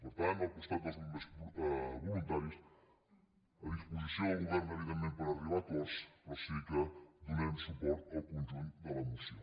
per tant al costat dels bombers voluntaris a disposició del govern evidentment per arribar a acords però sí que donarem suport al conjunt de la moció